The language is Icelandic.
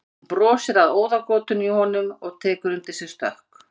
Hún brosir að óðagotinu í honum og tekur undir sig stökk.